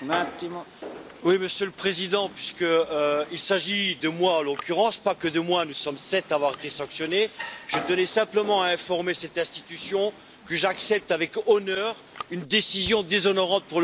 Monsieur le Président, puisqu'il s'agit de moi, en l'occurrence mais pas uniquement, car nous sommes sept à avoir été sanctionnés je tenais simplement à informer cette institution que j'accepte avec honneur une décision déshonorante pour le Parlement européen.